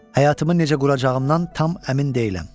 Həyatımı necə quracağımdan tam əmin deyiləm.